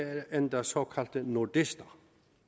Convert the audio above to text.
er endda såkaldte nordister